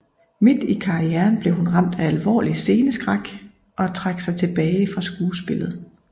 Midt i karrieren blev hun ramt af alvorlig sceneskræk og trak sig tilbage fra skuespillet